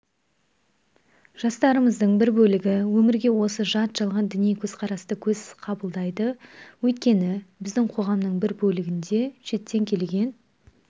жастарымыздың бір бөлігі өмірге осы жат жалған діни көзқарасты көзсіз қабылдайды өйткені біздің қоғамның бір бөлігінде шеттен келген